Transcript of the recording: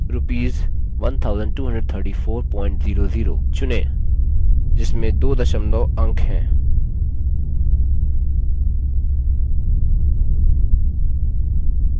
rs 123400 चुनें जिसमें दो दशमलव अंक हैं